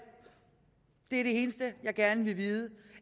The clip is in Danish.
i det eneste jeg gerne vil vide